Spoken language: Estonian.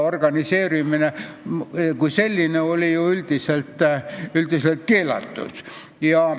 Organiseerumine kui selline oli ju üldiselt keelatud.